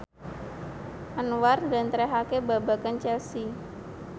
Anwar njlentrehake babagan Chelsea